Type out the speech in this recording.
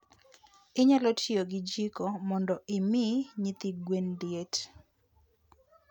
inyalo tiyo gi jiko mondo imii nyithi gwen liet